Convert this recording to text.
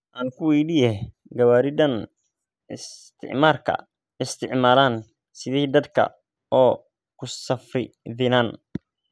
Ankuweydiyex, Gawari dhaan iistimarka isticmalaan sidhey dadka oo kusafridhinan?